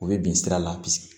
U bɛ bin sira la